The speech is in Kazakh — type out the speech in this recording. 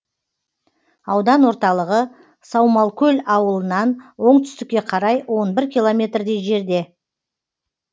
аудан орталығы саумалкөл ауылынан оңтүстікке қарай он бір километрдей жерде